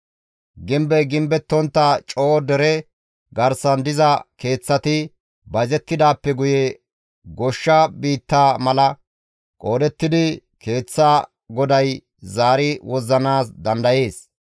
Gimbey gimbettontta coo dere garsan diza keeththati bayzettidaappe guye goshsha biitta mala qoodettidi keeththa goday zaari wozzanaas dandayees.